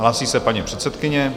Hlásí se paní předsedkyně.